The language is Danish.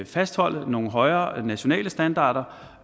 fastholde nogle højere nationale standarder